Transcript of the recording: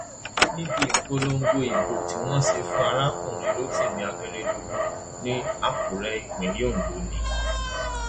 níbi ìpolongo ìbò tí wọn ṣe fún arákùnrin rotimi akérèdọlù ní àkúrẹ ìpínlẹ ondo ni